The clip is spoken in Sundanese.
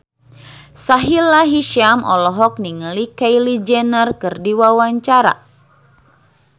Sahila Hisyam olohok ningali Kylie Jenner keur diwawancara